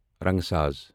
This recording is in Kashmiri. رنگہٕ ساز